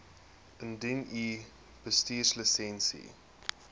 indien u bestuurslisensie